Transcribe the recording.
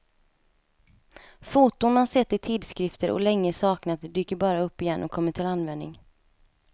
Foton man sett i tidskrifter och länge saknat dyker bara upp igen och kommer till användning.